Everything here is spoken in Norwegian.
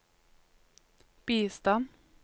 bistand